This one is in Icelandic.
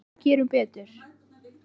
Hlustum og gerum betur.